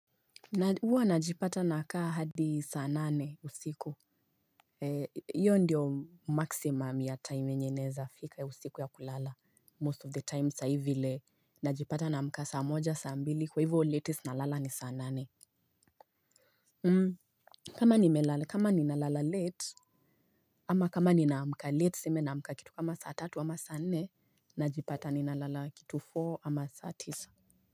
Huwa najipata na kaa hadi saa nane usiku hiyo ndiyo maximum ya time yenye naeza fika ya usiku ya kulala Most of the time sahii vile najipata naamka saa moja saa mbili kwa hivyo latest nalala ni saa nane. Kama ninalala late ama kama ni namka late tuseme namka kitu kama saa tatu ama saa nane. Najipata ni nalala kitu four ama saa tisa.